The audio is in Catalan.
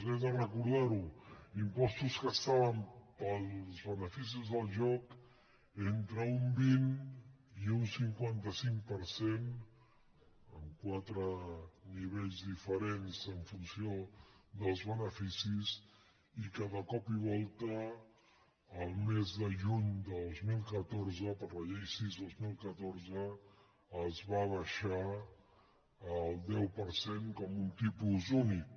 he de recordar ho impostos que estaven per als beneficis del joc entre un vint i un cinquanta cinc per cent en quatre nivells diferents en funció dels beneficis i que de cop i volta el mes de juny de dos mil catorze per la llei sis dos mil catorze es van abaixar al deu per cent com un tipus únic